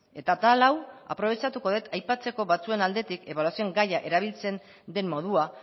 eta atal hau aprobetxatuko dut aipatzeko batzuen aldetik ebaluazioan gaia erabiltzen den modua